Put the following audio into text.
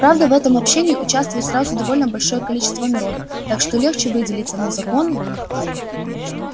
правда в этом общении участвует сразу довольно большое количество народу так что легче выделиться но законы